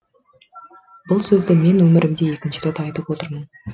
бұл сөзді мен өмірімде екінші рет айтып отырмын